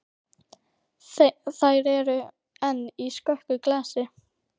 Þér eruð enn í skökku glasi.